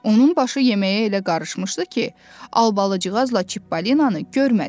Onun başı yeməyə elə qarışmışdı ki, Albacıqla Çipollinonu görmədi.